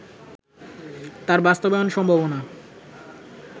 তার বাস্তবায়ন সম্ভাবনা